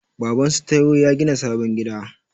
Babansu Taiwo ya gina sabon gida.